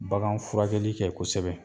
Bagan furakɛli kɛ kosɛbɛ